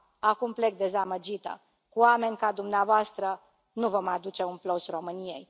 Acum plec dezamăgită, cu oameni ca dumneavoastră, nu vom aduce un plus României.